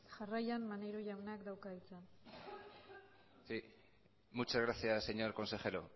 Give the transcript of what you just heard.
jarraian maneiro jaunak dauka hitza sí muchas gracias señor consejero